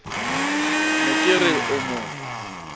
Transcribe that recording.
ne ke re o mo